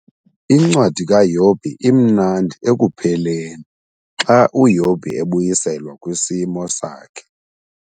INcwadi kaYobhi imnandi ekupheleni xa uYobhi ebuyiselwa kwisimo sakhe.